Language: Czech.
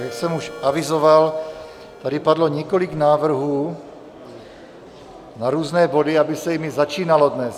Jak jsem už avizoval, tady padlo několik návrhů na různé body, aby se jimi začínalo dnes.